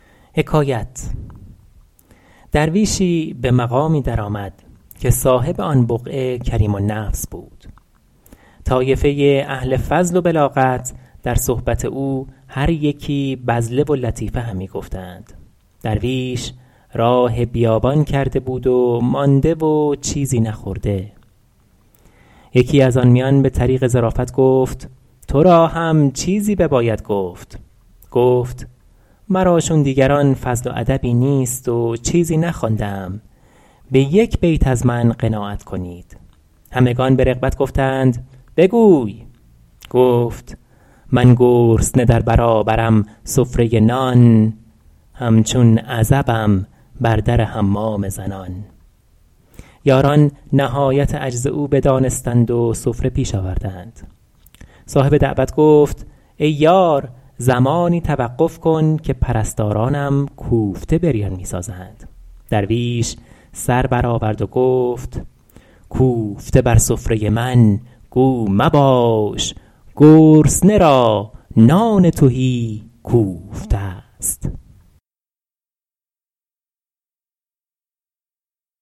درویشی به مقامی در آمد که صاحب آن بقعه کریم النفس بود طایفه اهل فضل و بلاغت در صحبت او هر یکی بذله و لطیفه همی گفتند درویش راه بیابان کرده بود و مانده و چیزی نخورده یکی از آن میان به طریق ظرافت گفت تو را هم چیزی بباید گفت گفت مرا چون دیگران فضل و ادبی نیست و چیزی نخوانده ام به یک بیت از من قناعت کنید همگنان به رغبت گفتند بگوی گفت من گرسنه در برابرم سفره نان همچون عزبم بر در حمام زنان یاران نهایت عجز او بدانستند و سفره پیش آوردند صاحب دعوت گفت ای یار زمانی توقف کن که پرستارانم کوفته بریان می سازند درویش سر بر آورد و گفت کوفته بر سفره من گو مباش گرسنه را نان تهی کوفته است